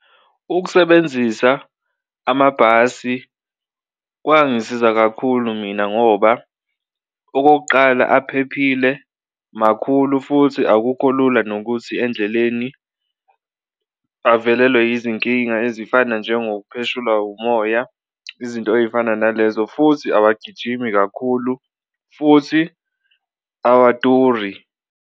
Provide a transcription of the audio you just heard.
Ukusebenzisa amabhasi kwangisiza kakhulu mina ngoba okokuqala aphephile, makhulu futhi akukho lula nokuthi endleleni avelelwe izinkinga ezifana njengokupheshulwa umoya izinto ey'fana nalezo, futhi awagijimi kakhulu, futhi awaduri.